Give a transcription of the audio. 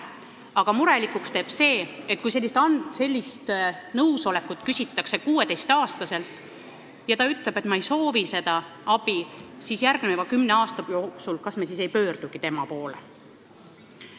Aga murelikuks teeb see, et kui sellist nõusolekut küsitakse 16-aastaselt ja ta ütleb, et ta ei soovi seda abi, siis kas me näiteks järgmise kümne aasta jooksul ei pöördugi tema poole.